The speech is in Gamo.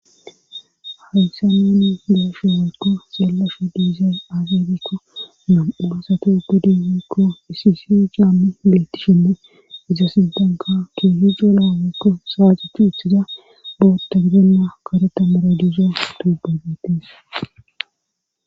aysa neni geeshe yarkko seelashe diizee agebikko na7ugasatuuge diekko isisi caammi beetti shinne iza sidanka ke hido laawekko saacuh hithida bowotta gidenna kareta mara diisa dubabetis